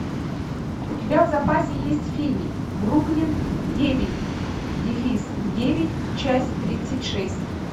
у тебя в запасе есть фильм бруклин девять дефис девять часть тридцать шесть